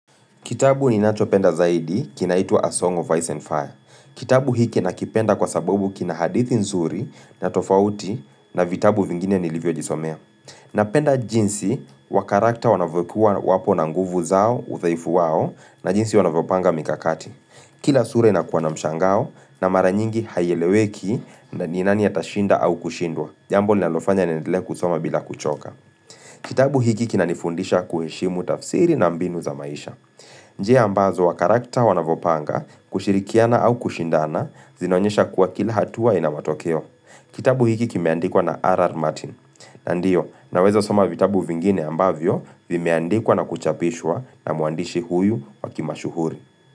Kitabu ninachopenda zaidi kinaitwa, 'A Song of Ice and Fire.' Kitabu hiki nakipenda kwa sababu kina hadithi nzuri na tofauti na vitabu vingine nilivyojisomea. Napenda jinsi wakarakta wanavyokuwa wapo na nguvu zao, udhaifu wao na jinsi wanavopanga mikakati. Kila sura inakuwa na mshangao na mara nyingi haieleweki ni nani atashinda au kushindwa. Jambo linalofanya niendelee kusoma bila kuchoka. Kitabu hiki kinanifundisha kuheshimu tafsiri na mbinu za maisha. Njia ambazo wakarakta wanavyopanga kushirikiana au kushindana zinaonyesha kuwa kila hatua ina matokeo. Kitabu hiki kimeandikwa na R. R. Martin. Ndiyo, naweza soma vitabu vingine ambavyo vimeandikwa na kuchapishwa na mwandishi huyu wa kimashuhuri.